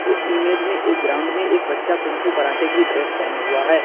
इस इमेज में एक ग्राउंड में एक बच्चा कुंग फू कराटे की ड्रेस पहना हुआ है।